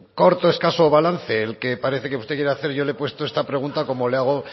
corto escaso balance el que parece que usted quiere hacer y yo le he puesto esta pregunta como le hago